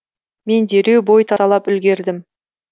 мен дереу бой тасалап үлгердім